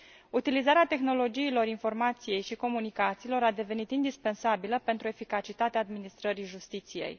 Utilizarea tehnologiilor informației și comunicațiilor a devenit indispensabilă pentru eficacitatea administrării justiției.